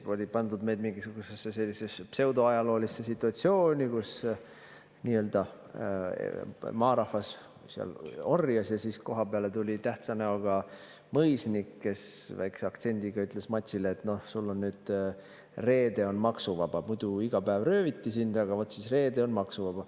Seal oli pandud meid mingisugusesse sellisesse pseudoajaloolisesse situatsiooni, kus nii‑öelda maarahvas orjas ja siis tuli tähtsa näoga mõisnik, kes väikese aktsendiga ütles matsile, et noh, sul on nüüd reede maksuvaba, muidu iga päev rööviti sind, aga vot nüüd on reede maksuvaba.